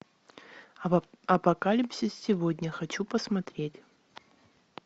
апокалипсис сегодня хочу посмотреть